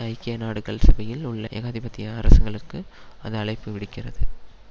ஐக்கிய நாடுகள் சபையில் உள்ள ஏகாதிபத்திய அரசங்கங்களுக்கு அது அழைப்பு விடுக்கிறது